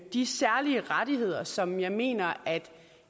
de særlige rettigheder som jeg mener